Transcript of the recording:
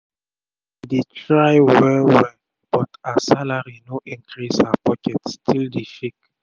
she she dey try wel wel but as her salari no increase her pocket still dey shake